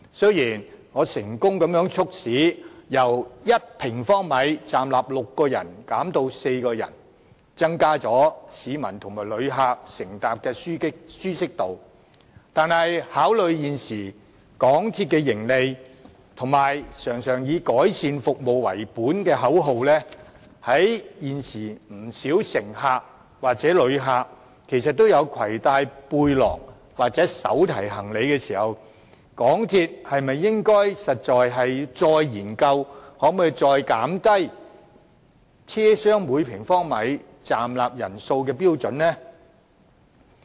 雖然我成功促使港鐵把密度由1平方米站立6人減至站立4人，提高市民和旅客乘搭時的舒適度，但是，考慮到現時港鐵的盈利，以及經常以改善服務為本的口號，加上現時不少乘客或旅客也攜帶背包或手提行李，港鐵是否應該再研究降低車廂每平方米站立人數的標準呢？